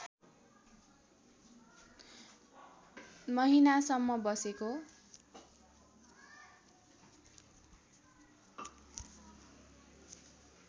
महिनासम्म बसेका